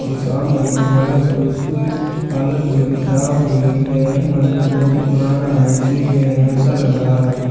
--कुछ काम नहीं हुआ है तो इसकी हालत थोड़ी खराब हो गई है यह मंदिर बहुत पुराना है इसलिए ये ऐसा लग रहा है।